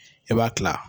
E b'a kila